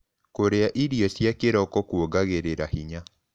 Kũrĩa irio cia kĩroko kũongagĩrĩra hinya